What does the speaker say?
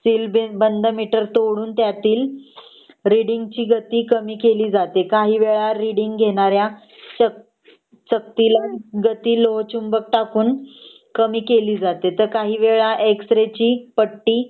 Seal बसे बंद meter तोडून त्यातील रीडिंग ची गती कामी केली जाते काही वेळ रीडिंग घेणाऱ्या सक चक्तीला गती लोहचुंबक टाकून गती कामी केली जाते . ते तर काही वेळ एक्स रे ची पट्टी